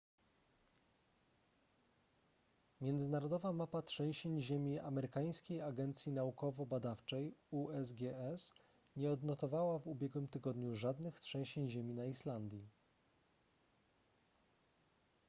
międzynarodowa mapa trzęsień ziemi amerykańskiej agencji naukowo-badawczej usgs nie odnotowała w ubiegłym tygodniu żadnych trzęsień ziemi na islandii